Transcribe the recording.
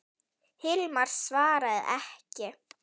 Hilmar svaraði ekki.